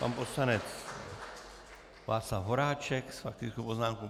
Pan poslanec Václav Horáček s faktickou poznámkou.